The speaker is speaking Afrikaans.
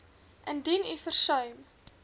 indien u versuim